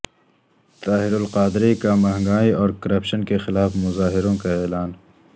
طاہر القادری کا مہنگائی اور کرپشن کےخلاف مظاہروں کا اعلان